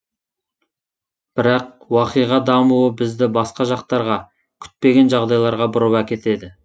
бірақ уақиға дамуы бізді басқа жақтарға күтпеген жағдайларға бұрып әкетеді